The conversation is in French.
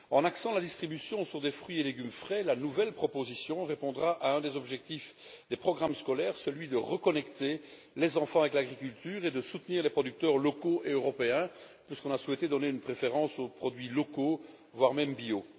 En axant la distribution sur des fruits et légumes frais, la nouvelle proposition répondra à un des objectifs des programmes scolaires celui de reconnecter les enfants avec l'agriculture et de soutenir les producteurs locaux et européens puisqu'on a souhaité donner une préférence aux produits locaux, voire bio.